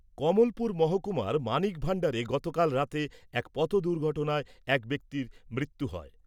কমলপুর মহকুমার মানিক ভান্ডারে গতকাল রাতে এক পথ দুর্ঘটনায় এক ব্যক্তির মৃত্যু হয়।